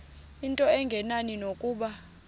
into engenani nokuba